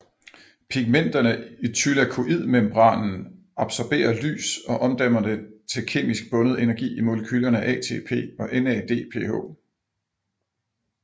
Pigmenterne i thylakoidemembranen absorberer lys og omdanner det til kemisk bundet energi i molekylerne ATP og NADPH